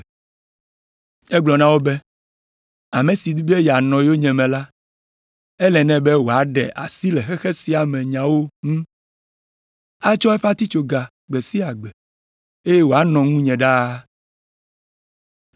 Egblɔ na wo be, “Ame si di be yeanɔ yonyeme la, ele nɛ be wòaɖe asi le xexe sia me nyawo ŋu atsɔ eƒe atitsoga gbe sia gbe, eye wòanɔ ŋunye ɖaa.